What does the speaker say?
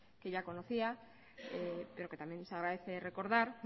que ya conocía pero que también se agradece recordar